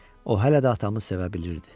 O hələ də atamı sevə bilirdi.